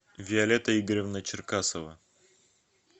виолетта игоревна черкасова